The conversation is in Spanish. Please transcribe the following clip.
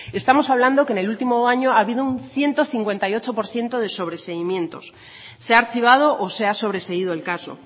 estamos hablando que en el último año ha habido un ciento cincuenta y ocho por ciento de sobreseimientos se ha archivado o se ha sobreseído el caso